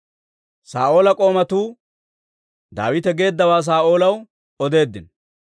Saa'oola k'oomatuu Daawite geeddawaa Saa'oolaw odeeddino.